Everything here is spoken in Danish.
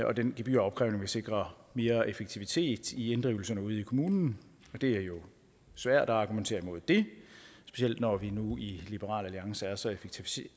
og den gebyropkrævning vil sikre mere effektivitet i inddrivelserne ude i kommunen og det er jo svært at argumentere imod det specielt når vi nu i liberal alliance er så